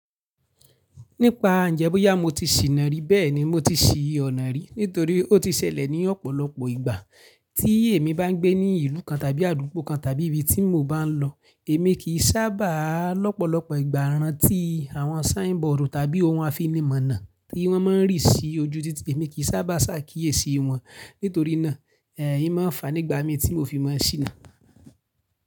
Nípa njẹ́ bóyá mo ti sì na rí, bẹ́ẹ̀ni mo ti sì ọ̀nà rí nítorí ó ti ṣẹlẹ̀ ní ọ̀pọ̀lọpọ̀ ìgbà tí èmi bá ń gbé ní ìlú kan tàbí àdúgbò kan tàbí ibi tí mo bá ń lọ. Èmi kì í sábà lọ́pọ̀lọpọ̀ ìgbà rán tí àwọn sign board tàbí ohun àfinímọ̀nà tí wọ́n má ń rí sí ojú títì, èmi kì í sábà ṣàkíyèsí wọn nítorí náà, ẹ̀, í má fa nígbà mi tí mo fi mọ̀ sína.